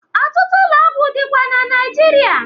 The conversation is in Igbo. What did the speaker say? Ọtụtụ ụlọ ọgwụ dịkwa Naịjirịa.